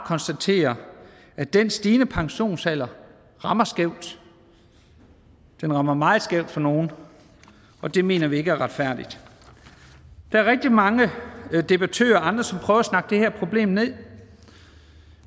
konstatere at den stigende pensionsalder rammer skævt den rammer meget skævt for nogle og det mener vi ikke er retfærdigt der er rigtig mange debattører og andre som prøver at snakke det her problem ned